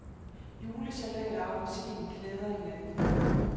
Julesalat og appelsin klæder hinanden.